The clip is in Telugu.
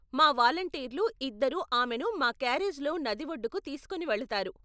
మా వాలంటీర్లు ఇద్దరు ఆమెను మా క్యారేజ్లో నది ఒడ్డుకు తీసుకుని వెళతారు.